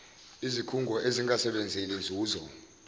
izikhungo ezingasebenzeli nzuzo